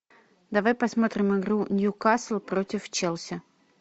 давай посмотрим игру ньюкасл против челси